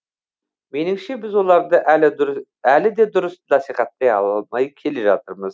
меніңше біз оларды әлі де дұрыс насихаттай алмай келе жатырмыз